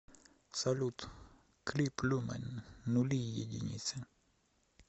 салют клип люмэн нули и единицы